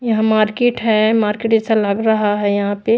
यहां मार्केट है मार्केट ऐसा लग रहा है यहां पे--